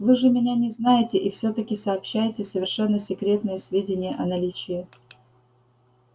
вы же меня не знаете и все таки сообщаете совершенно секретные сведения о наличии